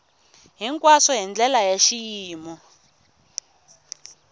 hinkwaswo hi ndlela ya xiyimo